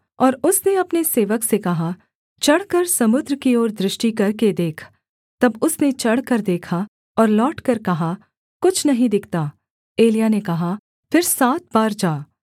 और उसने अपने सेवक से कहा चढ़कर समुद्र की ओर दृष्टि करके देख तब उसने चढ़कर देखा और लौटकर कहा कुछ नहीं दिखता एलिय्याह ने कहा फिर सात बार जा